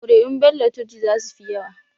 Kuri'un Bello Turji za su fi yawa.